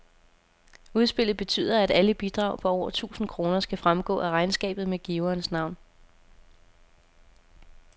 Udspillet betyder, at alle bidrag på over tusind kroner skal fremgå af regnskabet med giverens navn.